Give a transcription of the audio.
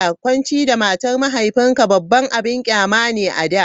Kwanci da matar mahaifinka babban abin ƙyama ne a da.